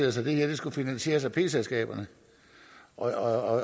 os at det her skulle finansieres af p selskaberne og